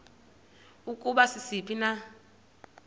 ukuba sisiphi na